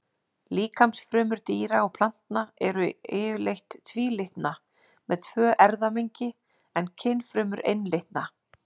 Líkamsfrumur dýra og plantna eru yfirleitt tvílitna, með tvö erfðamengi, en kynfrumur einlitna.